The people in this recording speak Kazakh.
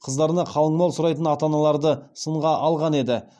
қыздарына қалың мал сұрайтын ата аналарды сынға алған еді